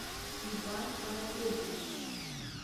иван анатольевич